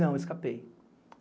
Não, escapei.